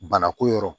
Bana ko yɔrɔ